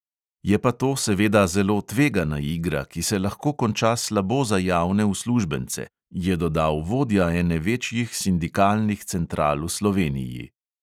"Je pa to seveda zelo tvegana igra, ki se lahko konča slabo za javne uslužbence," je dodal vodja ene večjih sindikalnih central v sloveniji.